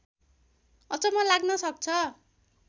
अचम्म लाग्न सक्छ